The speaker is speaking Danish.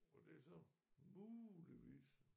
Og det er så muligvis